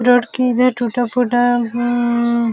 road के इधर टुटा फूटा उम्म --